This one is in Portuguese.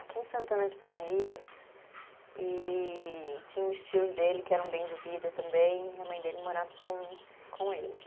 aqui em Santana de Parnaíba, e tinha uns tios dele que eram bem de vida também, e a mãe dele morava com com eles.